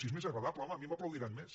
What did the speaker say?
si és més agradable home a mi m’aplaudiran més